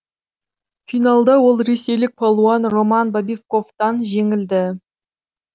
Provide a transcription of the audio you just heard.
финалда ол ресейлік палуан роман бобиковтан жеңілді